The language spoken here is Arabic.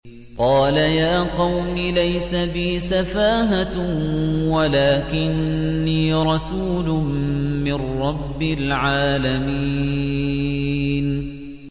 قَالَ يَا قَوْمِ لَيْسَ بِي سَفَاهَةٌ وَلَٰكِنِّي رَسُولٌ مِّن رَّبِّ الْعَالَمِينَ